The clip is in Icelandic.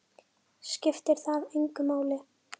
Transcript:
Skiptir það engu máli?